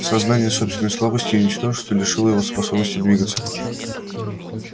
сознание собственной слабости и ничтожества лишило его способности двигаться